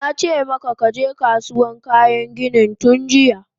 Nace maka kaje Kasuwan kayan ginin tunjiya!